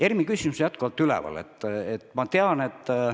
ERM-i küsimus on jätkuvalt üleval.